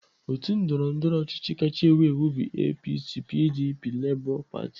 Otu ndọrọndọrọ ọchịchị kacha ewu ewu bụ APC, PDP, LABOR PARTY.